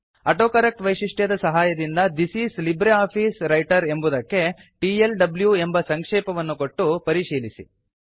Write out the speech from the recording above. autocorrect ವೈಶಿಷ್ಟ್ಯದ ಸಹಾಯದಿಂದ this is LibreOffice Writer ಎಂಬುದಕ್ಕೆ ಟಿಎಲ್ಡ್ಯೂ ಎಂಬ ಸಂಕ್ಷೇಪವನ್ನು ಕೊಟ್ಟು ಪರಿಶೀಲಿಸಿ